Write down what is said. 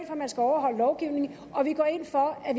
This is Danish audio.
at man skal overholde lovgivningen og vi går ind for at